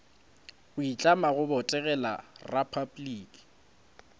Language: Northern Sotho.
go itlama go botegela repabliki